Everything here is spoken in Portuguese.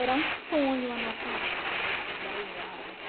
Era um sonho a nossa vida nesses dez anos.